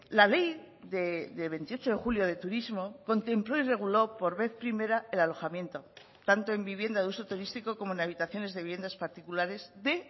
la ley de veintiocho de julio de turismo contempló y reguló por vez primera el alojamiento tanto en vivienda de uso turístico como en habitaciones de viviendas particulares de